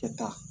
Kɛta